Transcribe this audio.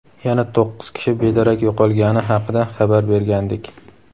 yana to‘qqiz kishi bedarak yo‘qolgani haqida xabar bergandik.